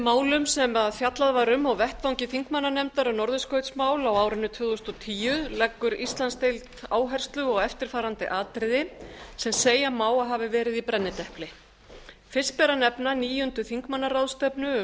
málum sem fjallað var um á vettvangi þingmannanefndar um norðurskautsmál á árinu tvö þúsund og tíu leggur íslandsdeild áherslu á eftirfarandi atriði sem segja má að hafi verið í brennidepli fyrst ber að nefna níundu þingmannaráðstefnu um